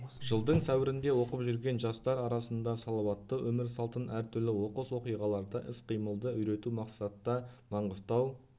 жылдың сәуірінде оқып жүрген жастар арасында салауатты өмір салтын әртүрлі оқыс оқиғаларда іс-қимылды үйрету мақсатта маңғыстау